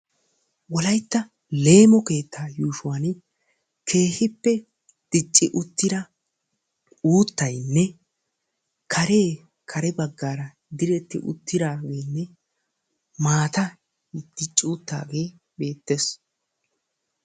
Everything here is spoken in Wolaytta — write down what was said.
Wolaytta leemo keetta yuushshuwani keehipe dicci uttida uuttaynne kaare kaare baggara diretti uttidagene, maatay dicci uttidage beettes.